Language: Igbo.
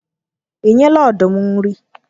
Ị nyela ọdụm nri?